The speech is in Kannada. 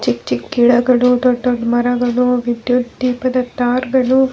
ಚಿಕ್ಕ್ ಚಿಕ್ಕ್ ಗಿಡಗಳು ದೊಡ್ಡ್ ದೊಡ್ಡ್ ಮರಗಳು ವಿದ್ಯುತ್ ದೀಪದ ಟಾರ್ಗಳು --